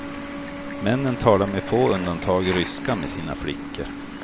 Männen talar med få undantag ryska med sina flickor.